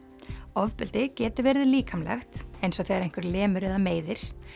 ofbeldi getur verið líkamlegt eins og þegar einhver lemur eða meiðir